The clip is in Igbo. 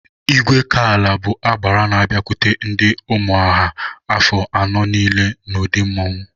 Igwekala bụ agbara n'abiakwute ndị Ụmụnọha afọ anọ niile n'ụdị mmanwụ.